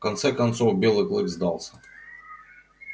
в конце концов белый клык сдался